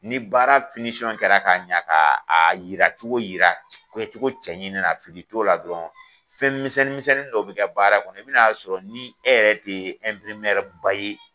Ni baara kɛra ka ɲɛ ka yira cogo yira kɛ cogo cɛɲi na fili to la dɔrɔn fɛn misɛn misɛnnin dɔw be kɛ baara kɔnɔ i bi na sɔrɔ ni e yɛrɛ te ba ye